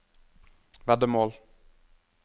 veddemål